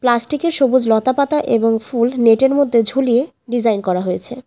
প্লাস্টিকের সবুজ লতাপাতা এবং ফুল নেটের মধ্যে ঝুলিয়ে ডিজাইন করা হয়েছে।